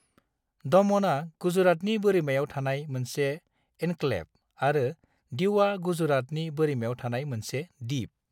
दमनआ गुजरातनि बोरिमायाव थानाय मोनसे एन्क्लेव आरो दीउआ गुजरातनि बोरिमायाव थानाय मोनसे दिप।